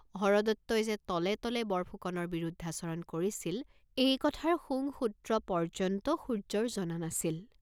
হৰদত্তই যে তলে তলে বৰফুকনৰ বিৰুদ্ধাচৰণ কৰিছিল, এই কথাৰ শুংসূত্ৰ পৰ্য্যন্ত সূৰ্য্যৰ জনা নাছিল।